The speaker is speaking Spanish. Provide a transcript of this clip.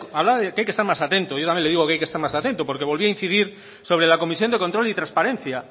de que hay que estar más atento yo también lo digo que hay que estar más atento porque volvía a incidir sobre la comisión de control y transparencia